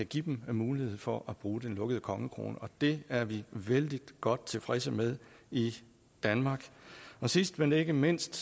give dem mulighed for at bruge den lukkede kongekrone og det er vi vældig godt tilfredse med i danmark sidst men ikke mindst